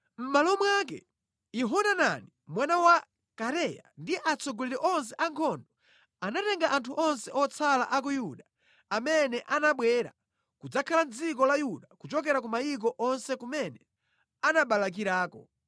Mʼmalo mwake, Yohanani mwana wa Kareya ndi atsogoleri onse a ankhondo anatenga anthu onse otsala a ku Yuda amene anabwera kudzakhala mʼdziko la Yuda kuchokera ku mayiko onse kumene anabalakirako.